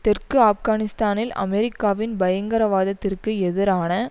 தெற்கு ஆப்கானிஸ்தானில் அமெரிக்காவின் பயங்கரவாதத்திற்கு எதிரான